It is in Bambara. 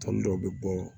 Tɔn dɔw bɛ bɔ